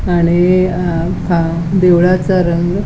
आणि आ हा देवळाचा रंग --